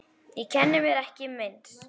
Ég kenni mér ekki meins.